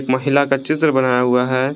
महिला का चित्र बनाया हुआ है।